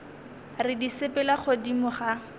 re di sepela godimo ga